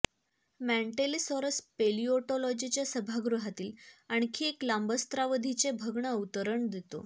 Mantellisaurus पेलिओटोलॉजीच्या सभागृहातील आणखी एक लांबस्रावधीचे भग्न अवतरण देतो